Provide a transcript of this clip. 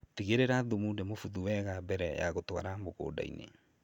Tigĩrĩra thumu nĩ mũbuthu wega mbere ya gũtwara mũgũnda-inĩ.